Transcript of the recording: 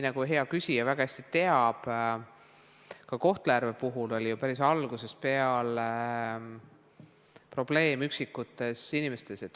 Nagu hea küsija väga hästi teab, ka Kohtla-Järve puhul oli ju päris algusest peale probleem üksikutes inimestes.